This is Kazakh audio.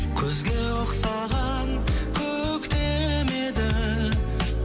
күзге ұқсаған көктем еді